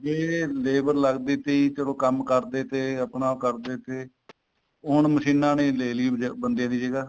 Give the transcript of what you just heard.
ਜੇ ਲੇਬਰ ਲੱਗਦੀ ਸੀ ਚਲੋ ਕੰਮ ਕਰਦੇ ਤੇ ਆਪਣਾ ਉਹ ਕਰਦੇ ਤੇ ਉਹ ਹੁਣ ਮਸ਼ੀਨਾ ਨੇ ਲੈ ਲਈ ਬੰਦਿਆਂ ਦੀ ਜਗ੍ਹਾ